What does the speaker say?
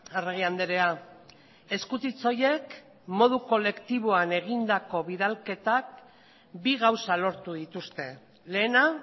arregi andrea eskutitz horiek modu kolektiboan egindako bidalketak bi gauza lortu dituzte lehena